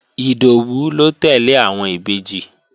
Ìdòwú ló tẹ́lẹ̀ àwọn Ìbejì